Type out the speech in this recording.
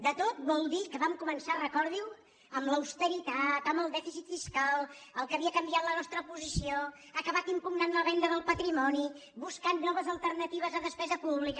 de tot vol dir que vam començar recordiho amb l’austeritat amb el dèficit fiscal el que havia canviat la nostra posició ha acabat impugnant la venda del patrimoni buscant noves alternatives de despesa pública